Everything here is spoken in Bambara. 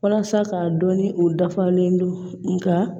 Walasa k'a dɔn ni u dafalen don nka